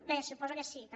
bé suposo que sí també